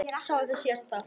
Sáuð þið síðasta þátt?